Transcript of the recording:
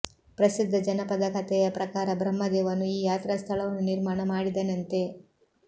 ಪ್ರಸಿದ್ಧ ಜನಪದಕಥೆಯ ಪ್ರಕಾರ ಬ್ರಹ್ಮದೇವನು ಈ ಯಾತ್ರಾ ಸ್ಥಳವನ್ನು ನಿರ್ಮಾಣ ಮಾಡಿದನಂತೆ